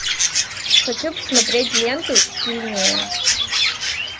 хочу посмотреть ленту сильнее